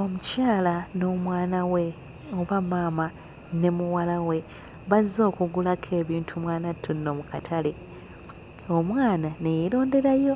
Omukyala n'omwana we oba maama ne muwala we bazze okugulako ebintu mwanattu nno mu katale omwana ne yeeronderayo